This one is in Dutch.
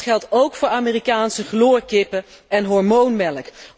Maar dat geldt ook voor Amerikaanse chloorkippen en hormoonmelk.